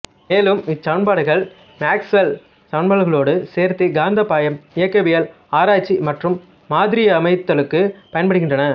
மேலும் இச்சமன்பாடுகள் மேக்ஸ்வெல் சமன்பாடுகளோடு சேர்த்து காந்தப்பாய்ம இயக்கவியல் ஆராய்ச்சி மற்றும் மாதிரியமைத்தலுக்குப் பயன்படுகின்றன